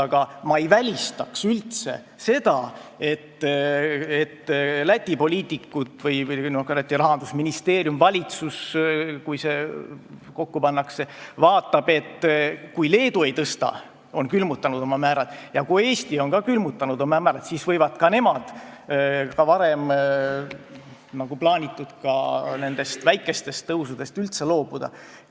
Aga ma ei välistaks seda, et Läti poliitikud või ka Läti rahandusministeerium või valitsus, kui see kokku pannakse, vaatavad, et kui Leedu ei tõsta määrasid, on need külmutanud, ja kui Eesti on oma määrad külmutanud, siis võivad ka nemad varem plaanitud väikestest tõusudest üldse loobuda.